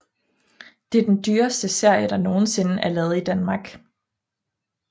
Det er den dyreste serie der nogensinde er lavet i Danmark